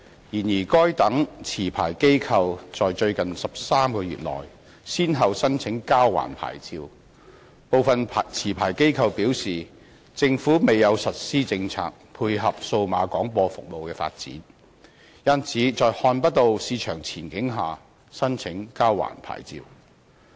然而，該等持牌機構在最近13個月內先後申請交還牌照；部分持牌機構表示，政府未有實施政策配合數碼廣播服務的發展，因此在看不到市場前景下申請交還牌照。